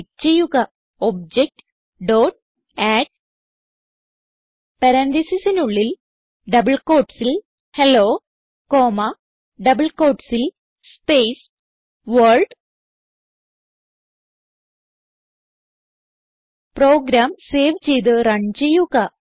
type ചെയ്യുക OBJ dot add പരാൻതീസിസിനുള്ളിൽ double quotesൽ ഹെല്ലോ കോമ്മ ഡബിൾ quotesൽ സ്പേസ് വർൾഡ് പ്രോഗ്രാം സേവ് ചെയ്ത് റൺ ചെയ്യുക